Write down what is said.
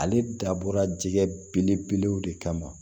Ale dabɔra jɛgɛ belebelew de kama